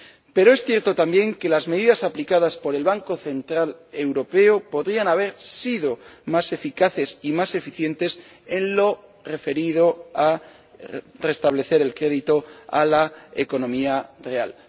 Pero es cierto también que las medidas aplicadas por el Banco Central Europeo podrían haber sido más eficaces y más eficientes en lo referido a restablecer el crédito a la economía real.